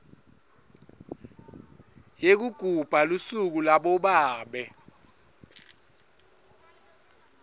yekugubha lusuku labobabe